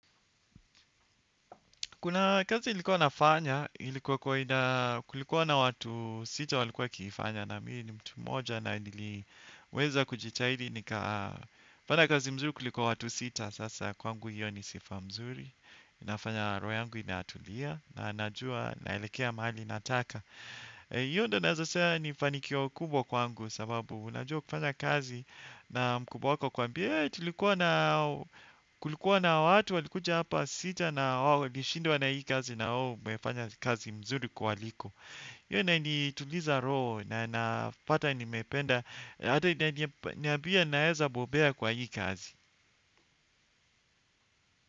Kuna kazi nilikuwa nafanya, ilikuwa kwa ina kulikuwa na watu sita walikuwa wakiifanya na mi ni mtu mmoja na niliweza kujitahidi nikaa fanya kazi mzuri kuliko watu sita, sasa kwangu hiyo ni sifa mzuri. Inafanya roho yangu inatulia na najua naelekea mahali nataka. Hiyo ndio naweza sema ni fanikio kubwa kwangu sababu unajua ukifanya kazi na mkubwa wako akwambie tulikuwa na kulikuwa na watu walikuja hapa sita na wao walishindwa na hii kazi na wewe umefanya kazi mzuri kuwaliko. Hiyo inanituliza roho na napata nimependa. Hata inaniambia naeza bobea kwa hii kazi.